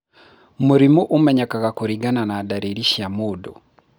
Mũrimũ ũmenyekaga kũringana na ndariri cia mũndũ.